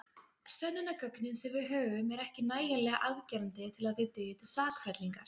Sönnunargögnin sem við höfum eru ekki nægjanlega afgerandi til að þau dugi til sakfellingar.